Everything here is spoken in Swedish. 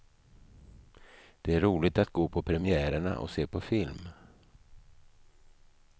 Det är roligt att gå på premiärerna och se på film.